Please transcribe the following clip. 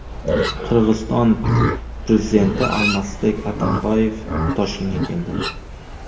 Qirg‘iziston prezidenti Almazbek Atamboyev Toshkentga keldi.